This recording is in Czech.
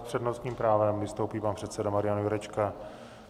S přednostním právem vystoupí pan předseda Marian Jurečka.